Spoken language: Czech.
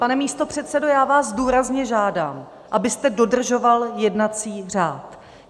Pane místopředsedo, já vás důrazně žádám, abyste dodržoval jednací řád.